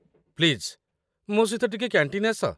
please, ମୋ ସହିତ ଟିକେ କ‍୍ୟାଣ୍ଟିନ୍‌ ଆସ